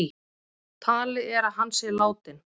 Talið er að hann sé látinn